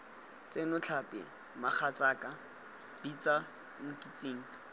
tsena tlhapi mogatsaaka bitsa nkitsing